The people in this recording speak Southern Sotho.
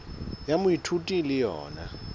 ya moithuti e le yona